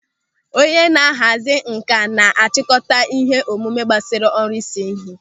Onye na-ahazi nkà na-chịkọta ihe omume gbasara ọrụ ịse ịhe.